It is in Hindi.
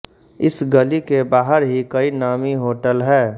इस गली के बाहर ही कई नामी होटल है